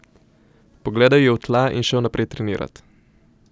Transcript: Pogledal je v tla in šel naprej trenirat.